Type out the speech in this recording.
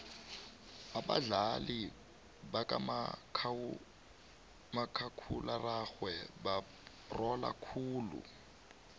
abadlali bakamakhakhulararhwe barhola khulu